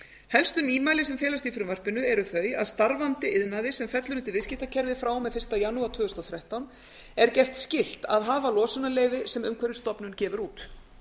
helstu nýmæli sem felast í frumvarpinu eru þau að þau að starfandi iðnaði sem fellur undir viðskiptakerfið frá og með fyrsta janúar tvö þúsund og þrettán er gert skylt að hafa losunarleyfi sem umhverfisstofnun gefur út